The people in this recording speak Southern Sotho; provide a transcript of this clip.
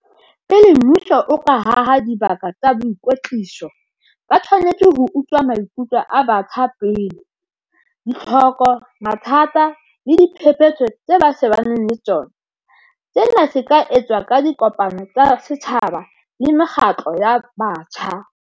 Pele mmuso o ka haha dibaka tsa boikwetliso ba tshwanetse ho utlwa maikutlo a batjha pele, ditlhoko, mathata le diphephetso tse ba shebaneng le tsona, sena se ka etswa ka dikopano tsa setjhaba le mekgatlo ya batjha.